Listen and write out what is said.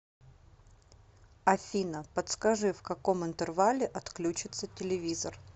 афина подскажи в каком интервале отключится телевизор